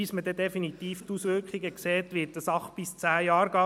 Bis man definitiv die Auswirkungen sieht, wird die Sache bis zu zehn Jahre dauern.